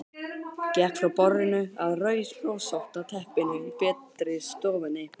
Gekk frá borðinu að rauðrósótta teppinu í betri stofunni.